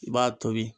I b'a tobi